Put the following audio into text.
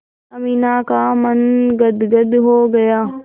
अमीना का मन गदगद हो गया